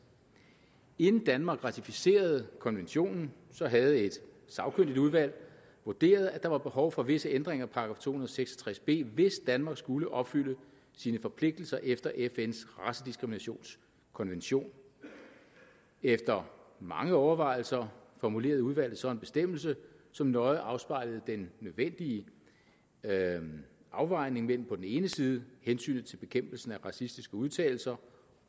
inden danmark ratificerede konventionen havde et sagkyndigt udvalg vurderet at der var behov for visse ændringer af § to og seks og tres b hvis danmark skulle opfylde sine forpligtelser efter fns racediskriminationskonvention efter mange overvejelser formulerede udvalget så en bestemmelse som nøje afspejlede den nødvendige afvejning mellem på den ene side hensynet til bekæmpelsen af racistiske udtalelser